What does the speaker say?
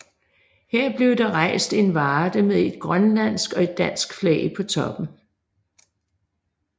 Her blev der rejst en varde med et grønlandsk og et dansk flag på toppen